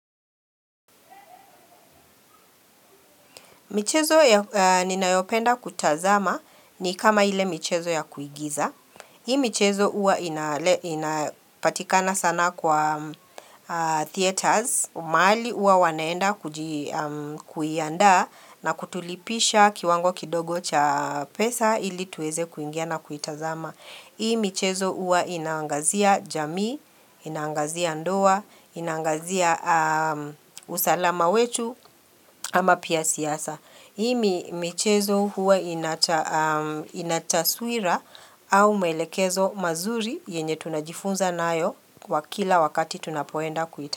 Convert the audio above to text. Michezo ninayopenda kutazama, ni kama ile michezo ya kuigiza. Hii michezo huwa inapatikana sana kwa Theaters, mahali huwa wanaenda kuiandaa na kutulipisha kiwango kidogo cha pesa ili tuweze kuingia na kuitazama. Hii michezo huwa inaangazia jamii, inaangazia ndoa, inaangazia usalama wetu ama pia siasa. Hii michezo huwa ina taswira au maelekezo mazuri yenye tunajifunza nayo kwa kila wakati tunapoenda kuita.